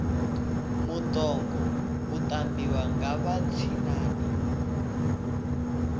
mutoga u tambiwa nga vha tshinnani